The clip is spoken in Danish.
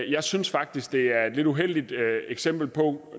jeg synes faktisk det er et lidt uheldigt eksempel på